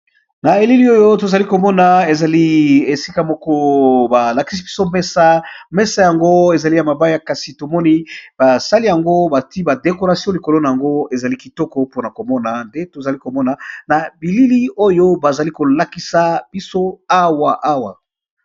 Na elili oyo tozali komona ezali esika moko balakisi biso mesa mesa yango ezali ya mabaya kasi tomoni basali yango bati ba dekoration likolo na yango ezali kitoko mpona komona nde tozali komona na bilili oyo bazali kolakisa biso awa awa.